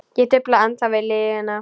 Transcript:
Ég dufla ennþá við lygina.